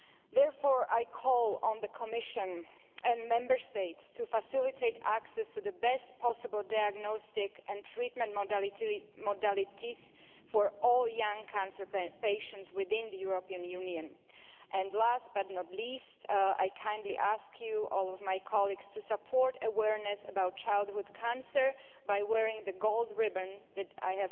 Therefore I call on the Commission and Member States to facilitate access to the best possible diagnostic and treatment modalities for all young cancer patients within the European Union. And last but not least, I kindly ask all my colleagues to support awareness about childhood cancer by wearing the gold ribbon that I